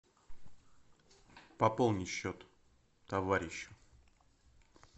пополни счет товарищу